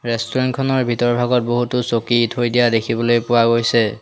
Restaurant খনৰ ভিতৰ ভাগত বহুতো চকী থৈ দিয়া দেখিবলৈ পোৱা গৈছে।